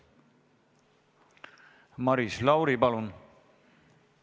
Maris Lauri, palun!